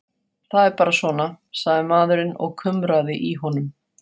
Það er bara svona, sagði maðurinn og kumraði í honum.